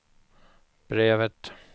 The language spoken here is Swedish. brevet